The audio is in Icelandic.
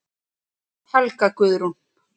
Helga Guðrún.